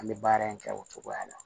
An bɛ baara in kɛ o cogoya la